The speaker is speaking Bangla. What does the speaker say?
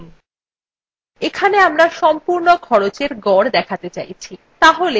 এখানে আমরা সম্পূর্ণ খরচের গড় দেখাতে চাইছি